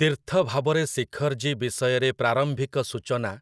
ତୀର୍ଥଭାବରେ ଶିଖର୍‌ଜୀ ବିଷୟରେ ପ୍ରାରମ୍ଭିକ ସୂଚନା